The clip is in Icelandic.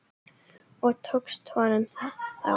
Og tókst honum það þá?